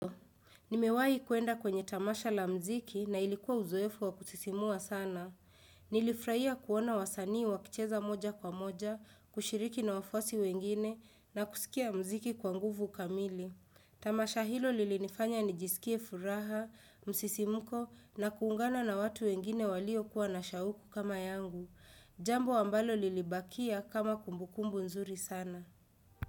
Nimewai kwenda kwenye tamasha la mziki na ilikuwa uzoefu wa kusisimua sana. Nilifurahia kuona wasanii wakicheza moja kwa moja, kushiriki na wafuasi wengine na kusikia mziki kwa nguvu kamili. Tamasha hilo lilinifanya nijisikie furaha, msisimuko na kuungana na watu wengine walio kuwa na shauku kama yangu. Jambo ambalo lilibakia kama kumbukumbu nzuri sana.